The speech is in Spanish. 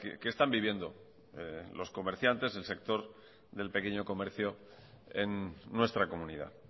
que están viviendo los comerciantes el sector del pequeño comercio en nuestra comunidad